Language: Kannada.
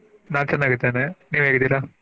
ನಾ ಚನ್ನಾಗಿದ್ದೇನೆ ನೀವ್ ಹೇಗಿದ್ದೀರಾ?